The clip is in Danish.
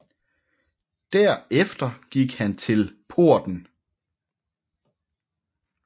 Der efter gik han til porten